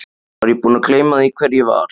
Var ég búinn að gleyma því hver ég var?